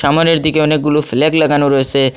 সামনের দিকে অনেকগুলো ফ্ল্যাগ লাগানো রয়েছে।